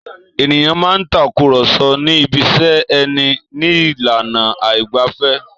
Èniyàn máa ń takùrọ̀so ní ibiṣẹ́ ẹni ní ìlànà àìgbẹ̀fẹ̀.